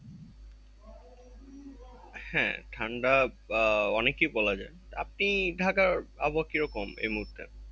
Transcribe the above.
হ্যাঁ ঠান্ডা অনেকই বলা যায়। আপনি ঢাকার আবহাওয়া কিরকম এই মুহূর্তে?